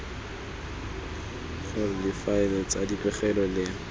gore difaele tsa dipegelo le